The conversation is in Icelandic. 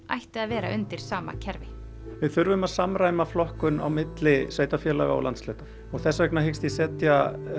ætti að vera undir sama kerfi við þurfum að samræma flokkun milli sveitarfélaga og landshluta og þess vegna hyggst ég setja